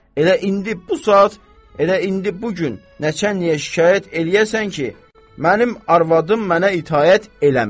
Elə indi bu saat, elə indi bu gün nəçənliyə şikayət eləyəsən ki, mənim arvadım mənə itaət eləmir.